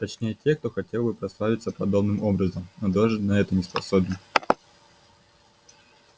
точнее тех кто хотел бы прославиться подобным образом но даже на это не способен